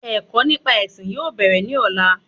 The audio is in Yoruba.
Ẹ̀kọ́ nípa ẹ̀sìn yóò bèrè ní ọ̀la